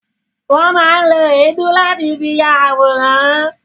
Won má ń lo èédú láti fi ya àwòrán